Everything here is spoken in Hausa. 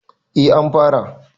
A an fara